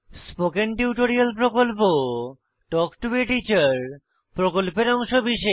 spoken tutorial প্রকল্প talk to a teacher প্রকল্পের অংশবিশেষ